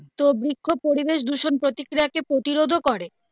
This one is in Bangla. তো বৃক্ষ পরিবেশ দূষণ প্রতিক্রিয়া কে প্রতিরোধ ও করে.